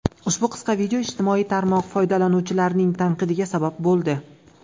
Ushbu qisqa video ijtimoiy tarmoq foydalanuvchilarining tanqidiga sabab bo‘ldi.